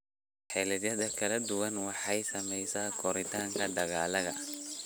Xilliyada kala duwani waxay saameeyaan koritaanka dalagga.